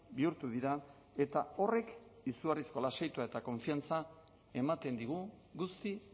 bihurtu dira eta horrek izugarrizko lasaitua eta konfiantza ematen digu guzti